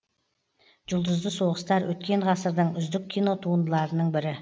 жұлдызды соғыстар өткен ғасырдың үздік кинотуындыларының бірі